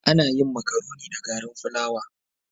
Ana yin makaroni da garin fulawa.